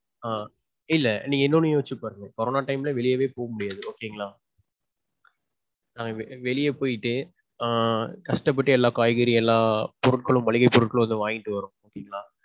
ஆஹ் இல்ல நீங்க இன்னொன்னு யோசிச்சு பாருங்க. corona time ல வெளியவே போக முடியாது okay ங்களா. ~ வெளியே போயிட்டு ஆஹ் கஷ்டப்பட்டு எல்லாம் காய்கறி எல்லாம் பொருட்களும் மளிகை பொருட்களும் வாங்கிட்டு வரணும் சரீங்களா.